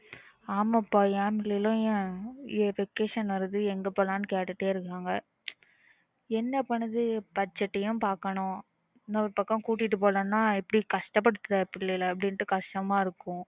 ஆமா பா என் பிள்ளைகளும் என் vacation வருது எங்க போலாம் கேட்டுட்டே இருந்தாங்க என்ன பண்ணுறது budget பாக்கணும் இன்னொரு பக்கம் கூட்டிட்டு போகலானா எப்பிடி கஷ்டப்படுத்துறது பிள்ளைகள அப்பிடின்னு கஷ்டமா இருக்கும்